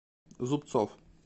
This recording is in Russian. зубцов